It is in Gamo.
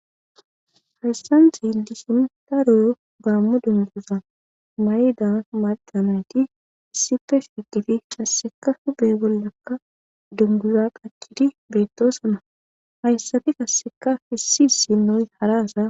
Hessani xelishini darro gamo dunguza mayidda macca nayiti issipe shiqidi qassika huphe bolla dunguza qachidi betosona.